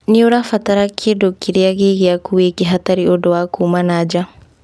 Nĩ ũrabatara kĩndũ kĩrĩa gĩ gĩaku wike, hatarĩ ũndũ wa kuuma nanja.